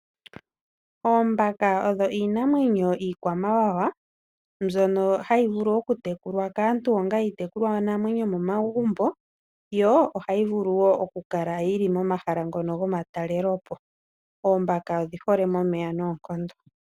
Oombaka odho iinamwenyo iikwamawawa mbyono hayi vulu okutekulwa kaantu onga iitekulwa namwenyo momagumbo yo ohayi vulu okukala momahala gomatalelopo oombaka odhiholeko momeya nooonkondo .